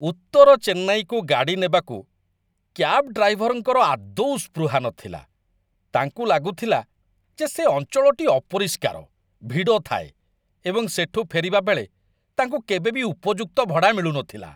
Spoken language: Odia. ଉତ୍ତର ଚେନ୍ନାଇକୁ ଗାଡ଼ି ନେବାକୁ କ୍ୟାବ୍ ଡ୍ରାଇଭରଙ୍କର ଆଦୌ ସ୍ପୃହା ନଥିଲା। ତାଙ୍କୁ ଲାଗୁଥିଲା ଯେ ସେ ଅଞ୍ଚଳଟି ଅପରିଷ୍କାର, ଭିଡ଼ ଥାଏ, ଏବଂ ସେଠୁ ଫେରିବାବେଳେ ତାଙ୍କୁ କେବେବି ଉପଯୁକ୍ତ ଭଡ଼ା ମିଳୁନଥିଲା।